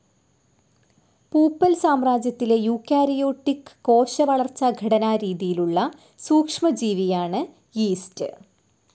പൂപ്പൽ സാമ്രാജ്യത്തിലെ യൂക്കാരിയോട്ടിക്ക് കോശ വളർച്ചാ ഘടനാ രീതിയിലുള്ള സൂക്ഷ്മ ജീവിയാണ് യീസ്റ്റ്.